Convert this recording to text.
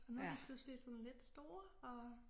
Og nu de pludselig sådan lidt store og